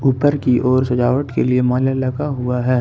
ऊपर की ओर सजावट के लिए माला लगा हुआ है।